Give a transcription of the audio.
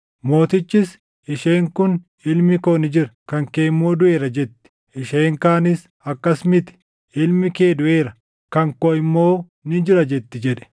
Mootichis, “Isheen kun, ‘Ilmi koo ni jira; kan kee immoo duʼeera’ jetti; isheen kaanis, ‘Akkas miti! Ilmi kee duʼeera; kan koo immoo ni jira’ jetti” jedhe.